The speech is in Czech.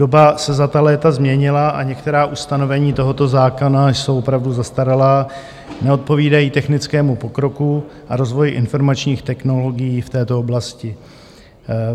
Doba se za ta léta změnila a některá ustanovení tohoto zákona jsou opravdu zastaralá, neodpovídají technickému pokroku a rozvoji informačních technologií v této oblasti.